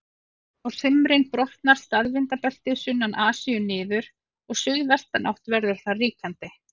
Á sumrin brotnar staðvindabeltið sunnan Asíu niður og suðvestanátt verður þar ríkjandi.